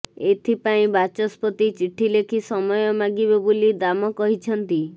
ଏଥତ୍ପାଇଁ ବାଚସ୍ପତି ଚିଠି ଲେଖି ସମୟ ମାଗିବେ ବୋଲି ଦାମ କହିଛନ୍ତି